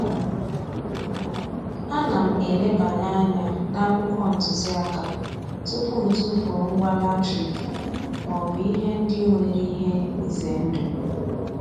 Ana m elebanye anya n'akwụkwọ ntụziaka tupu m tufuo ngwa latrik maọbụ ihe ndị nwere ihe ize ndụ.